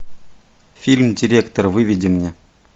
фильм директор выведи мне